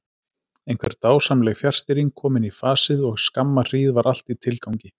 Einhver dásamleg fjarstýring komin í fasið og skamma hríð var allt í tilgangi.